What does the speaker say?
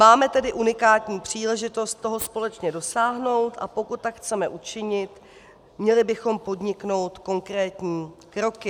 Máme tedy unikátní příležitost toho společně dosáhnout, a pokud tak chceme učinit, měli bychom podniknout konkrétní kroky.